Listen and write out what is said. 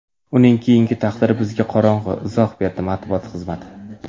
Uning keyingi taqdiri bizga qorong‘u”, izoh berdi matbuot xizmati.